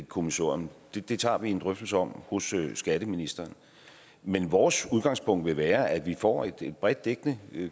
kommissorium det det tager vi en drøftelse om hos skatteministeren men vores udgangspunkt vil være at vi får et bredt dækkende